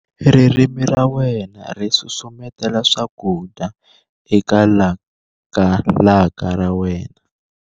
ririmi ra wena ri susumetela swakudya eka lakalaka ra wena